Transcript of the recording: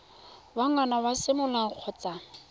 wa ngwana wa semolao kgotsa